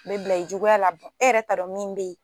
U bila i juguya la e yɛrɛ t'a dɔn min bɛ yen.